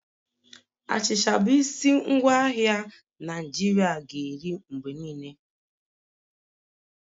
Achịcha bụ isi ngwaahịa Naijiria ga-eri mgbe niile